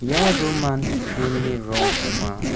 ia room-an cream-ni rong ong·a.